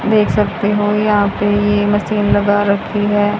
देख सकते हो यहां पे ये मशीन लगा रखी हैं।